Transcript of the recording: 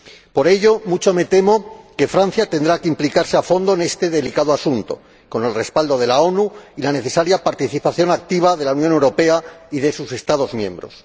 Por ello, mucho me temo que Francia tendrá que implicarse a fondo en este delicado asunto, con el respaldo de las Naciones Unidas y la necesaria participación activa de la Unión Europea y de sus Estados miembros.